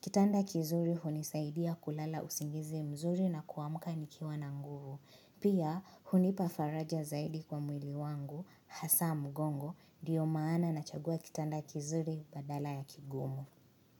Kitanda kizuri hunisaidia kulala usingizi mzuri na kuamka nikiwa na nguvu. Pia hunipa faraja zaidi kwa mwili wangu, hasa mgongo, ndio maana nachagua kitanda kizuri badala ya kigumu.